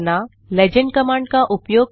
legend command का उपयोग करना